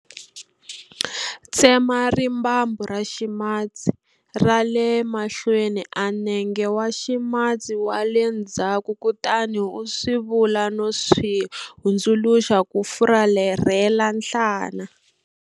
Tsema rimbambu ra ximatsi ra le mahlweni a nenge wa ximatsi wa le ndzhaku kutani u swi vula no swi hundzuluxa ku fularhela nhlana.